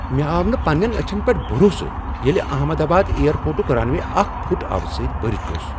مےٚ آو نہٕ پننین أچھن پیٹھ بروسے ییلہِ احمد آباد ایئر پورٹٕٗک رن وے اکھ فٗٹ آبہٕ سۭتۍ برِتھ اوس ۔